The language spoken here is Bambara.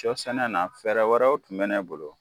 Shɔ sɛnɛ na fɛɛrɛ wɛrɛw tun bɛ ne bolo.